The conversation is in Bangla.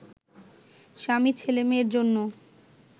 স্বামী ছেলেমেয়ের জন্য